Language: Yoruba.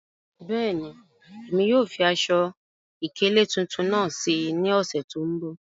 Bẹ́ẹ̀ni, emi yóò fi aṣọ-ikele tuntun naá sí ní òṣè tó nbọ̀.